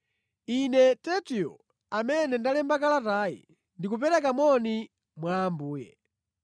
Ine Tertio, amene ndalemba kalatayi, ndi kupereka moni mwa Ambuye.